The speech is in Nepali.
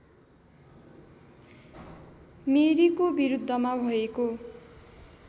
मेरीको विरुद्धमा भएको